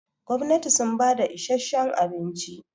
gwamnati sun bada isheshen abinci